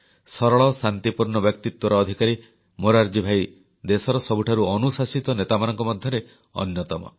ସରଳ ଶାନ୍ତିପୂର୍ଣ୍ଣ ବ୍ୟକ୍ତିତ୍ୱର ଅଧିକାରୀ ମୋରାରଜୀ ଭାଇ ଦେଶର ସବୁଠାରୁ ଅନୁଶାସିତ ନେତାମାନଙ୍କ ମଧ୍ୟରେ ଅନ୍ୟତମ